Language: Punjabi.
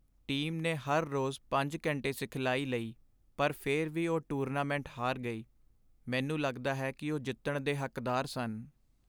ਟੀਮ ਨੇ ਹਰ ਰੋਜ਼ ਪੰਜ ਘੰਟੇ ਸਿਖਲਾਈ ਲਈ ਪਰ ਫਿਰ ਵੀ ਉਹ ਟੂਰਨਾਮੈਂਟ ਹਾਰ ਗਈ ਮੈਨੂੰ ਲੱਗਦਾ ਹੈ ਕੀ ਉਹ ਜਿੱਤਣ ਦੇ ਹੱਕਦਾਰ ਸਨ